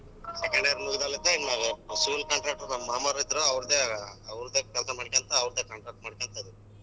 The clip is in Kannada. Second year ಮುಗ್ದಲ್ಲದೆ ನಾವು civil contractor ಮಾಮರ್ ಇದ್ರು ಅವ್ರ್ ದ್ದೆ ಅವ್ರ್ ದ್ದೆ ಕೆಲ್ಸ ಮಾಡ್ಕೊಂತ ಅವ್ರದ್ದೇ contract ಮಾಡ್ಕೊಂತ ಅದಿನಿ.